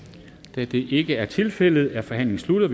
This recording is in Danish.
da det ikke er tilfældet er forhandlingen sluttet